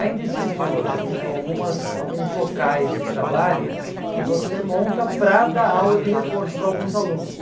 Ainda existem hoje um o algumas alguns locais de trabalho que você monta para dar aula de reforço para alguns alunos.